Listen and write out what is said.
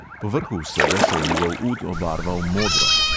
Povrhu vsega se je njegov ud obarval modro.